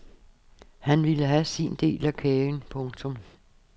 Han ville have sin del af kagen. punktum